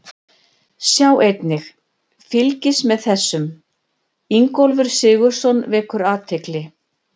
Sjá einnig: Fylgist með þessum: Ingólfur Sigurðsson vekur athygli